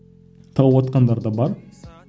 тауыватқандар да бар